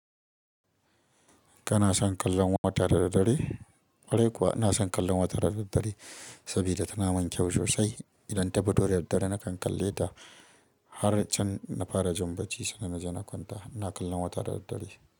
Kana son kallon wata da daddare? Ƙwarai kuwa ina son kallon wata da daddare sabida tana mun kyau sosai. Idan tafi toda dad dare nakan kalle da har can na fara jin bacci, sannan na zona kwanta. Ina kallon wata da daddare.